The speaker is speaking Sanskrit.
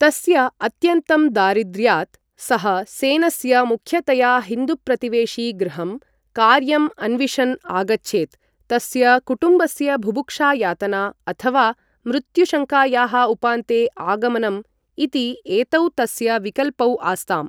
तस्य अत्यन्तं दारिद्र्यात्, सः सेनस्य मुख्यतया हिन्दुप्रतिवेशि गृहं, कार्यं अन्विषन् आगच्छेत्, तस्य कुटुम्बस्य बुभुक्षायातना अथवा मृत्युशङ्कायाः उपान्ते आगमनम्, इति एतौ तस्य विकल्पौ आस्ताम्।